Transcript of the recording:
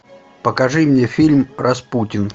покажи мне фильм распутин